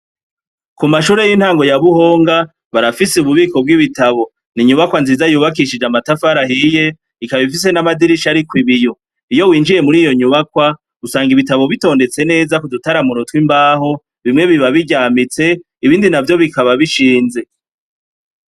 Ku mashure y'intango ya buhonga barafise ububiko bw'ibitabo ni inyubakwa nziza yubakishije amatafarahiye ikaba ifise n'amadirisha ari ko ibiyo winjiye muri iyo nyubakwa gusanga ibitabo bitondetse neza ku dutaramuro tw'imbaho bimwe biba biryamitse ibindi na vyo bikaba bishinze.